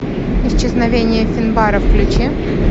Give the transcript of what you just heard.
исчезновение финбара включи